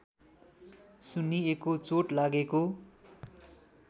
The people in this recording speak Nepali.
सुन्निएको चोट लागेको